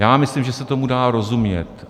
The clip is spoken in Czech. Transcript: Já myslím, že se tomu dá rozumět.